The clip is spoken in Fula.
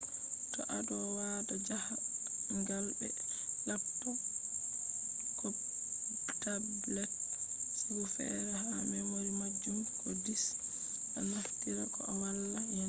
to ado wada jahangal be laptop ko tablet sigu fere ha memory majum ko disca naftira koh wala yanan gizo